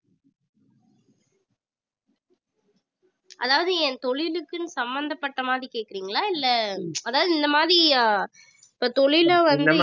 அதாவது என் தொழிலுக்குன்னு சம்பந்தப்பட்ட மாதிரி கேட்கறீங்களா இல்லை அதாவது இந்த மாதிரி இப்ப தொழிலே வந்து